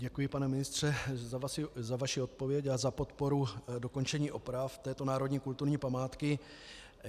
Děkuji, pane ministře, za vaši odpověď a za podporu dokončení oprav této národní kulturní památky.